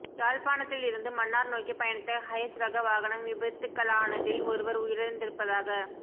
யாழ்ப்பாணத்தில் இருந்து மன்னார் நோக்கி பயணித்த ஹயஸ் ரக வாகனம் விபத்துக்களானதில் ஒருவர் உயிரிழந்திருப்பதாக